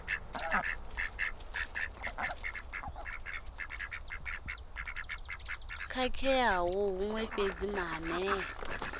ḓi khakhea huṅwe fhedzi maanea